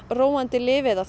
róandi lyf eða